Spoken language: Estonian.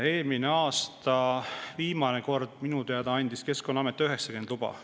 Eelmisel aastal andis minu teada Keskkonnaamet viimane kord 90 luba.